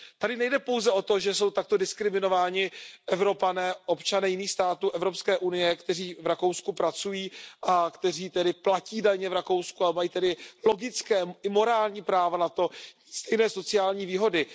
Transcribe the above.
Tady nejde pouze o to, že jsou takto diskriminováni Evropané, občané jiných států Evropské unie, kteří v Rakousku pracují a kteří tedy platí daně v Rakousku a mají tedy logické i morální práva na stejné sociální výhody.